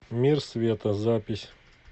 мир света запись